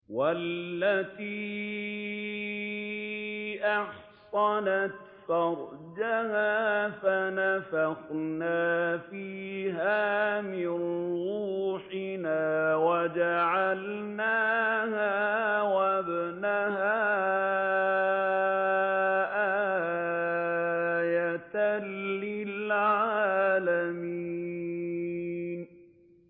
وَالَّتِي أَحْصَنَتْ فَرْجَهَا فَنَفَخْنَا فِيهَا مِن رُّوحِنَا وَجَعَلْنَاهَا وَابْنَهَا آيَةً لِّلْعَالَمِينَ